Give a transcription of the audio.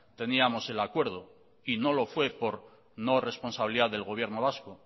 teníamos el acuerdo y no lo fue por no por responsabilidad del gobierno vasco